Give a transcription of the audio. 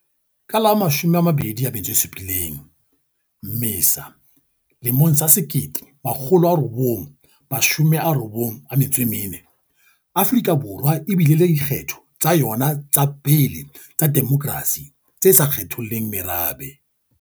Ka la 27 Mmesa 1994, Afrika Borwa e bile le dikgetho tsa yona tsa pele tsa demokrasi tse sa kgetholleng merabe.